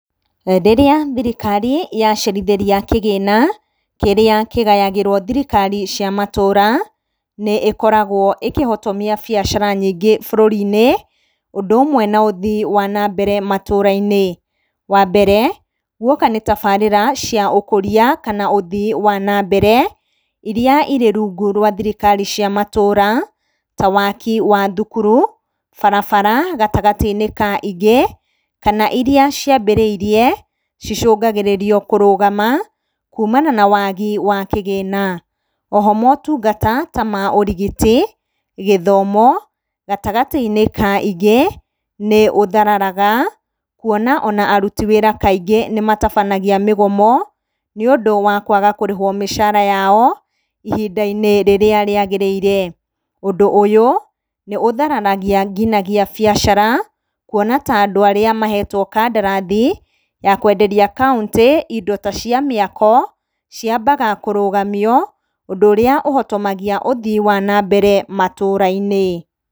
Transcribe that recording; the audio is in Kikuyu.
Rĩrĩa thirikari yacerithĩria kĩgĩna kĩrĩa kĩgayagĩrwo thirikari cia matũra, nĩĩkoragwo ĩkĩhotomia biacara nyingĩ bũrũri-inĩ, ũndũ ũmwe na ũthii wa na mbere matũra-inĩ. Wa mbere, gwoka ni tabarĩra cia ũkũria kana ũthii wa na mbere, iria irĩ rungu rwa thirikari cia matũra ta waki wa thukuru, barabara, gatagatĩ-inĩ ka ingĩ, kana iria ciambĩrĩirie cicũngagĩrĩrio kũrũgama kumana na wagi wa kĩgĩna. Oho motungata ta ma ũrigiti, gĩthomo, gatagatĩ-inĩ ka ingĩ nĩ ũthararaga kũona ona aruti wĩra aingĩ nĩ matabanagia mĩgomo nĩundũ wa kwaga kũrĩhwo mĩcara yao ihinda-inĩ rĩrĩa rĩagĩrĩire. Ũndũ ũyũ nĩ ũthararagia nginyagia biacara kũona ta andũ arĩa mahetwo kandarathi ya kwenderia kaũntĩ indo ta cia mĩako ciambaga kũrũgamio, ũndũ ũrĩa ũhotomagia ũthii wa na mbere matũra-inĩ.